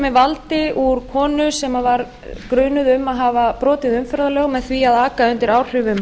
með valdi úr konu sem var grunuð um að hafa brotið umferðarlög með því að aka undir áhrifum